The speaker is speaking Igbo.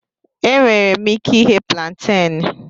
Enwere m ike ighe púlanténú